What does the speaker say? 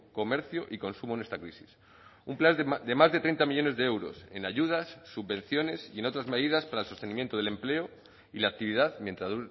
comercio y consumo en esta crisis un plan de más de treinta millónes de euros en ayudas subvenciones y en otras medidas para el sostenimiento del empleo y la actividad mientras